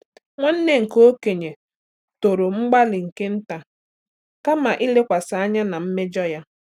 Nwanne nke okenye toro mgbalị nke nta kama ilekwasị anya na mmejọ ya.